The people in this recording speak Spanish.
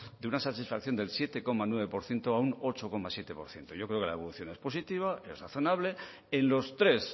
de una satisfacción del siete coma nueve por ciento a un ocho coma siete por ciento yo creo que la evolución es positiva es razonable en los tres